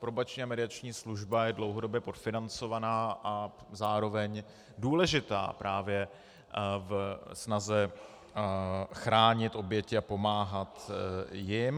Probační a mediační služba je dlouhodobě podfinancovaná a zároveň důležitá právě ve snaze chránit oběti a pomáhat jim.